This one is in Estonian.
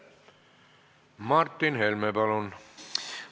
Martin Helme, palun!